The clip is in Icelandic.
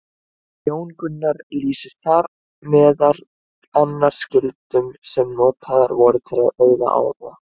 Jón Gunnar lýsir þar meðal annars gildrum sem notaðar voru til að veiða ála.